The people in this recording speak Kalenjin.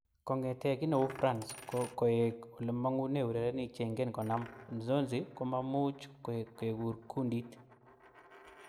Kongete kineu France koek olemangune urerenik cheingen konam, Nzonzi komamuch kekur kundit.